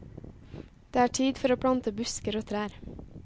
Det er tid for å plante busker og trær.